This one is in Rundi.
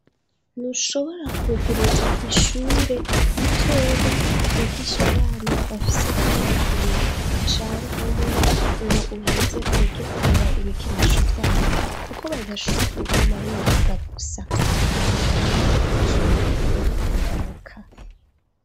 Ntushobora kuguruza ishure ritoya ryigishe abana bafise nk'imyaka ibiri canke umwe ngo uheze ureke kugura ibikinisho vyabo kuko badashora kuguma biga gusa, barakenara umwanya wo gukina no kuruhuka.